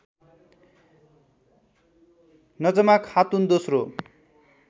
नजमा खातुन दोस्रो